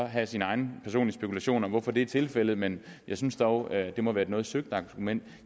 have sin egne personlige spekulationer om hvorfor det er tilfældet men jeg synes dog at det må være et noget søgt argument